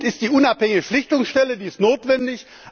Gut ist die unabhängige Schlichtungsstelle, die ist notwendig.